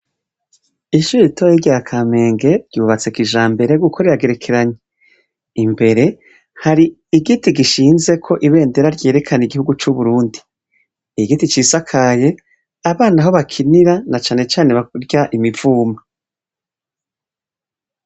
Ishure ritoyi rya kamenge ryubatse kijambere kuko riragerekeranye. Imbere hari igiti ginshinzeko ibendera ryerekana iguhugu c’uburundi, igiti cisakaye abana aho bakinira na cane cane bakurya imivumba.